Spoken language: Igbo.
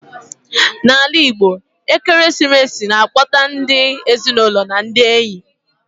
Na ala Igbo, ekeresimesi na akpọkọta ndi ezinụlọ na ndị enyi